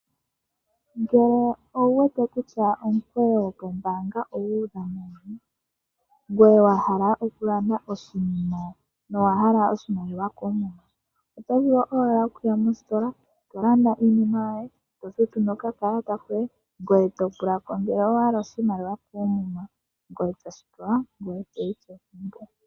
Ngele owuwete kutya omukweyo kombaanga ogu udha ngoye wahala okulanda oshinima no wahala oshimaliwa koomuma. Otovulu owala okuya mositola eto landa iinima yoye ,tofutu no kakalata koye ngoye topulako ngele owahala oshimaliwa koomuma ngoye toshipewa etoyi kegumbo